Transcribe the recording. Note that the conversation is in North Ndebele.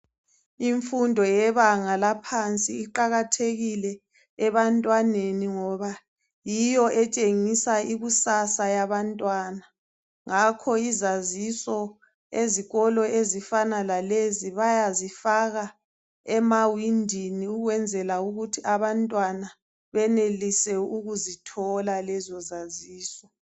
Imfundo yebanga laphansi iqakathekile ebantwaneni ngoba yiyo etshengisa ikusasa yabantwana, ngakho izaziso ezikolo ezifana lalezi bayazifaka emawindini ukwenzela ukuthi abantwana benelise ukuzithola lezo zaziso